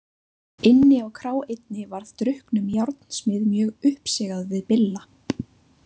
Inni á krá einni varð drukknum járnsmið mjög uppsigað við Billa.